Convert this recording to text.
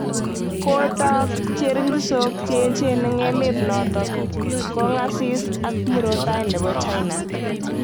Ko taak cheringisook che echen eng emet notok, kongasis ak murotai nebo China